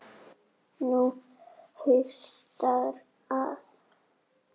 Nú haustar að.